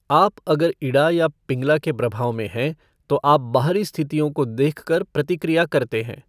आप अगर इड़ा या पिंगला के प्रभाव में हैं तो आप बाहरी स्थितियों को देखकर प्रतिक्रिया करते हैं।